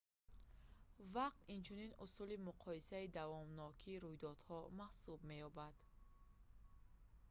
вақт инчунин усули муқоисаи давомнокии мудовамат ​​рӯйдодҳо маҳсуб меёбад